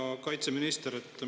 Hea kaitseminister!